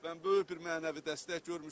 Mən böyük bir mənəvi dəstək görmüşəm.